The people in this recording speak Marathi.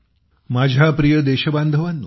माझ्या प्रिय देशवासियांनो